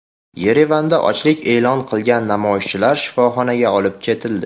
Yerevanda ochlik e’lon qilgan namoyishchilar shifoxonaga olib ketildi.